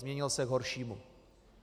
Změnil se k horšímu.